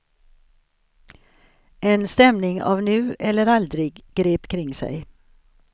En stämning av nu eller aldrig grep kring sig.